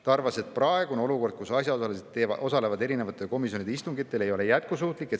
Ta arvas, et praegune olukord, kus asjaosalised osalevad erinevate komisjonide istungitel, ei ole jätkusuutlik.